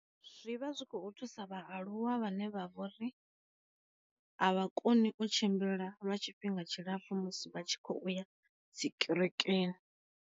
Zwi vha zwi khou thusa vhaaluwa vhane vha vhori a vha koni u tshimbila lwa tshifhinga tshilapfu musi vha tshi kho uya dzi kerekeni.